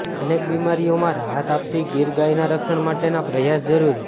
અનેક બિમારીઓમાં રાહત આપતી ગીર ગાયના રક્ષણ માટેના પ્રયાસ જરુરી